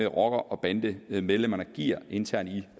rocker og bandemedlemmerne giver internt i